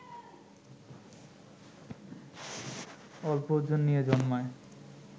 অল্প ওজন নিয়ে জন্মায়